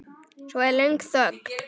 Svo er löng þögn.